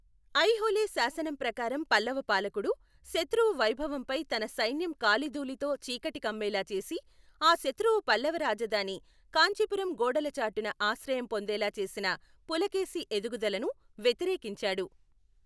ఐహోళే శాసనం ప్రకారం పల్లవ పాలకుడు, శతృవు వైభవంపై తన సైన్యం కాలిధూళితో చీకటికమ్మేలా చేసి, ఆ శతృవు పల్లవ రాజధాని కాంచీపురం గోడల చాటున ఆశ్రయం పొందేలా చేసిన పులకేశి ఎదుగుదలను వ్యతిరేకించాడు.